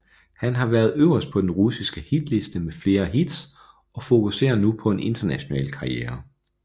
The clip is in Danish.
Han har været øverst på den russiske hitliste med flere hits og fokuserer nu på en international karriere